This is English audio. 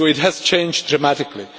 It has changed dramatically.